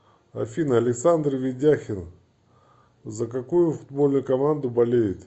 афина александр ведяхин за какую футбольную команду болеет